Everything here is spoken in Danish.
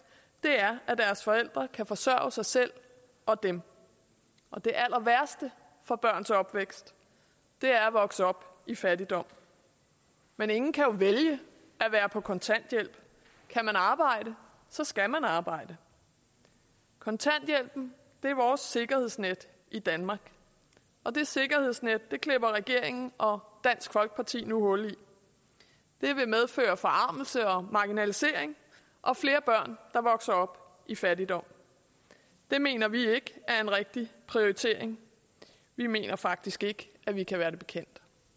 er at deres forældre kan forsørge sig selv og dem det allerværste for børns opvækst er at vokse op i fattigdom men ingen kan jo vælge at være på kontanthjælp kan man arbejde så skal man arbejde kontanthjælpen er vores sikkerhedsnet i danmark det sikkerhedsnet klipper regeringen og dansk folkeparti nu hul i det vil medføre forarmelse og marginalisering og flere børn der vokser op i fattigdom det mener vi ikke er en rigtig prioritering vi mener faktisk ikke at vi kan være det bekendt